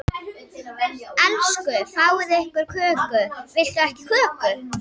Elsku fáið ykkur köku, viltu ekki köku?